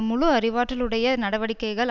முழு அறிவாற்றலுடைய நடவடிக்கைகள்